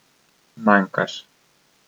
Manjkaš.